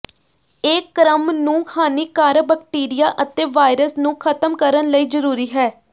ਇਹ ਕ੍ਰਮ ਨੂੰ ਹਾਨੀਕਾਰਕ ਬੈਕਟੀਰੀਆ ਅਤੇ ਵਾਇਰਸ ਨੂੰ ਖ਼ਤਮ ਕਰਨ ਲਈ ਜ਼ਰੂਰੀ ਹੈ